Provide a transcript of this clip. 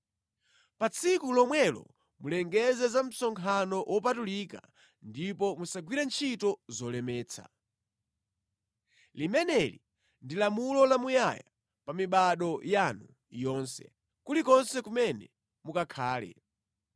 Pa tsiku lomwelo mulengeze za msonkhano wopatulika ndipo musagwire ntchito zolemetsa. Limeneli ndi lamulo lamuyaya pa mibado yanu yonse, kulikonse kumene mukakhale.